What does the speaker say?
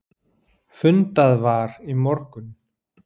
Fundað var í morgun.